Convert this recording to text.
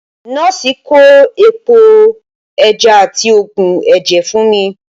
Nọ́ọ̀sì kọ epo ẹja àti oogun ẹ̀jẹ̀ fún mi